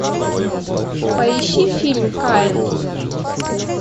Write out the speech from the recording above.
поищи фильм каин